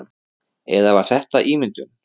Eða var þetta ímyndun?